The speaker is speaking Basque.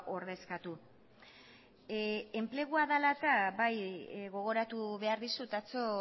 ordezkatu enplegua dela eta bai gogoratu behar dizut atzo